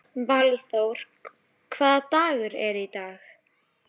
Valþór, hvaða dagur er í dag?